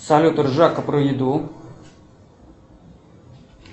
салют ржака про еду